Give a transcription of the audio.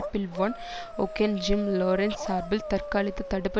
bill Van Auken Jim Lawrence சார்பில் தற்காலிகத் தடுப்பு